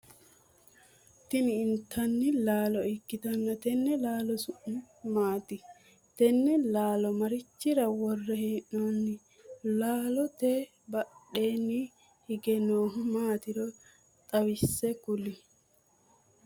Tinni intanni laalo ikitanna tenne laalo su'mi maati? Tenne laalo marichira wore hee'noonni? Laallote badheenni hige noohu maatiro xawise kuli